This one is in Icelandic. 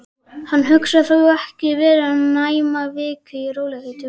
Hann hugsaði: Þó ekki væri nema vika. í rólegheitum.